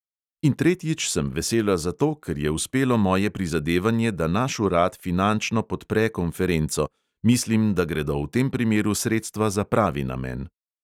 In tretjič sem vesela zato, ker je uspelo moje prizadevanje, da naš urad finančno podpre konferenco – mislim, da gredo v tem primeru sredstva za pravi namen.